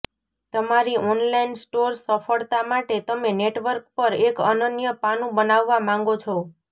તમારી online store સફળતા માટે તમે નેટવર્ક પર એક અનન્ય પાનું બનાવવા માંગો છો